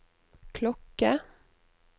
klokke